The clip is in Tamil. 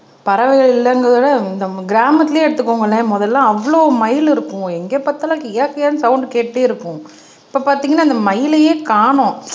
பறவைகள் இல்லைங்கிறதை விட நம்ம கிராமத்திலேயே எடுத்துக்கோங்கண்ணே முதல்ல அவ்வளவு மயில் இருக்கும் எங்க பார்த்தாலும் கிய கியான்னு சவுண்ட் கேட்டுட்டே இருப்போம் இப்ப பாத்தீங்கன்னா அந்த மயிலையே காணோம்